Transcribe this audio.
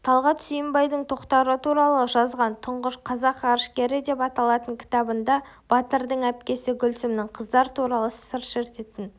талғат сүйінбайдың тоқтар туралы жазған тұңғыш қазақ ғарышкері деп аталатын кітабында батырдың әпкесі гүлсімнің қыздар туралы сыр шертетін